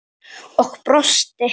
Og brosti.